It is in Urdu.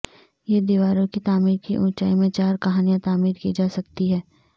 یہ دیواروں کی تعمیر کی اونچائی میں چار کہانیاں تعمیر کی جا سکتی ہیں